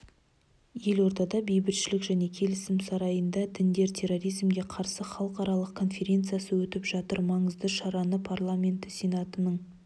елордада бейбітшілік және келісім сарайында діндер терроризмге қарсы халықаралық конференциясы өтіп жатыр маңызды шараны парламенті сенатының